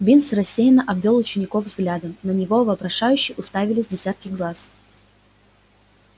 бинс рассеянно обвёл учеников взглядом на него вопрошающе уставились десятки глаз